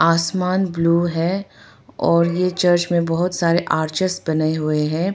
आसमान ब्लू है और यह चर्च में बहुत सारे आरचज बने हुए हैं।